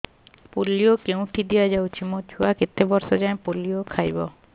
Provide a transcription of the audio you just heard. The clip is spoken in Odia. ପୋଲିଓ କେଉଁଠି ଦିଆଯାଉଛି ମୋ ଛୁଆ କେତେ ବର୍ଷ ଯାଏଁ ପୋଲିଓ ଖାଇବ